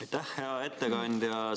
Aitäh, hea ettekandja!